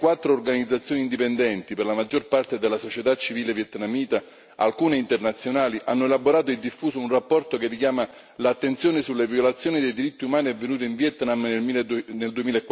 Ventiquattro organizzazioni indipendenti, per la maggior parte della società civile vietnamita, alcune internazionali, hanno elaborato e diffuso un rapporto che richiama l'attenzione sulle violazioni dei diritti umani avvenuto in Vietnam nel